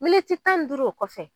Militi tan n duuru o kɔfɛ